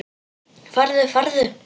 Farðu, farðu.